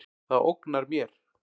Það ógnar mér.